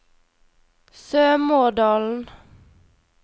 Sømådalen